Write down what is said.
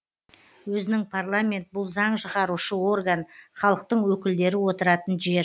өзінің парламент бұл заң шығарушы орган халықтың өкілдері отыратын жер